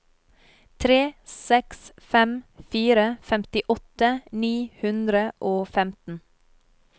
tre seks fem fire femtiåtte ni hundre og femten